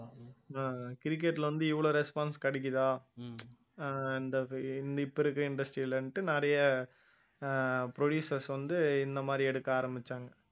அஹ் cricket ல வந்து இவ்வளவு response கிடைக்குதா இப்ப இருக்க industry லன்ட்டு நிறைய ஆஹ் producers வந்து இந்த மாதிரி எடுக்க ஆரம்பிச்சாங்க